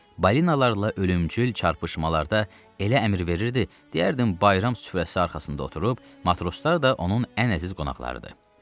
Balinalarla ölümcül çarpışmalarda elə əmr verirdi, deyərdim bayram süfrəsi arxasında oturub, matroslar da onun ən əziz qonaqlarıdır.